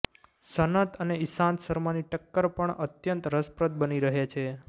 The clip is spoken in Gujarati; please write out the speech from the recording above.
સનત અને ઇશાંત શર્માની ટક્કર પણ અત્યંત રસપ્રદ બની રહેશે